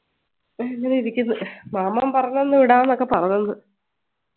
അങ്ങനെയിരിക്കുന്നു മാമൻ പറഞ്ഞെന്ന് വിടാംന്ന് ഒക്കെ പറഞ്ഞെന്ന്